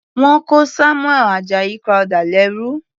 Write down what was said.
Wọ́n kó Samuel Ajayi Crowther lẹ́rú.